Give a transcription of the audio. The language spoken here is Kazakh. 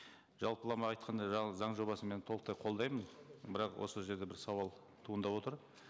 жалпылама айтқанда заң жобасын мен толықтай қолдаймын бірақ осы жерде бір сауал туындап отыр